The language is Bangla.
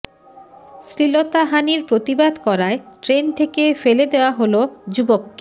শ্লীলতাহানির প্রতিবাদ করায় ট্রেন থেকে ফেলে দেওয়া হল যুবককে